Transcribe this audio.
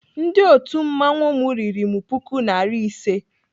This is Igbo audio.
Ndị otu mmanwụ m riri m puku nari ise.